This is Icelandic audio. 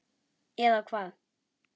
Eða hvað.?